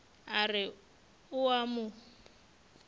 a re o a mo